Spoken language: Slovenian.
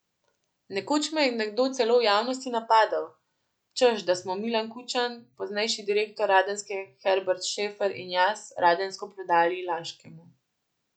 Nekoč me je nekdo celo v javnosti napadel, češ da smo Milan Kučan, poznejši direktor Radenske Herbert Šefer in jaz Radensko prodali Laškemu.